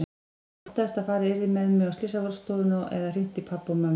Ég óttaðist að farið yrði með mig á slysavarðstofuna eða hringt í pabba og mömmu.